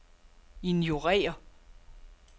ignorér